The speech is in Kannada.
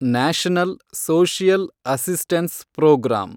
national social assistance program